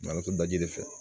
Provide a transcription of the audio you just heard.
Matɔrɔn daji fɛ